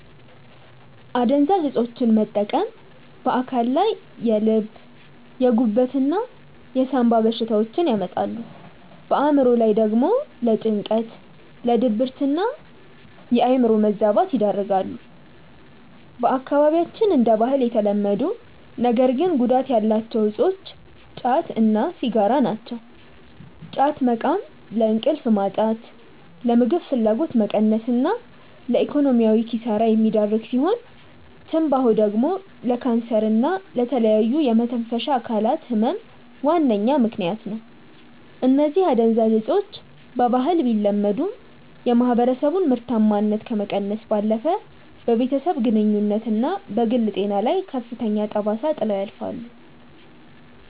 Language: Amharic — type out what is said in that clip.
አደንዛዥ እፆችን መጠቀም በአካል ላይ የልብ፣ የጉበት እና የሳምባ በሽታዎችን ያመጣሉ፣ በአእምሮ ላይ ደግሞ ለጭንቀት፣ ለድብርትና የአእምሮ መዛባት ይዳርጋሉ። በአካባቢያችን እንደ ባህል የተለመዱ ነገር ግን ጉዳት ያላቸው እፆች ጫት እና ሲጋራ ናቸው። ጫት መቃም ለእንቅልፍ ማጣት፣ ለምግብ ፍላጎት መቀነስ እና ለኢኮኖሚያዊ ኪሳራ የሚዳርግ ሲሆን፤ ትንባሆ ደግሞ ለካንሰር እና ለተለያዩ የመተንፈሻ አካላት ህመም ዋነኛ ምከንያት ነው። እነዚህ አደንዛዥ እፆች በባህል ቢለመዱም፣ የማህበረሰቡን ምርታማነት ከመቀነስ ባለፈ በቤተሰብ ግንኙነትና በግል ጤና ላይ ከፍተኛ ጠባሳ ጥለው ያልፋሉ።